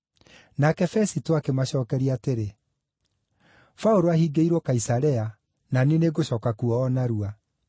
Nake Fesito akĩmacookeria atĩrĩ, “Paũlũ ahingĩirwo Kaisarea, na niĩ nĩngũcooka kuo o narua.